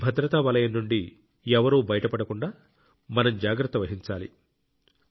ఈ భద్రతా వలయం నుండి ఎవరూ బయటపడకుండా మనం జాగ్రత్త వహించాలి